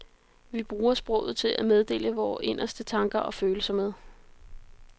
Vi bruger sproget til at meddele vore inderste tanker og følelser med.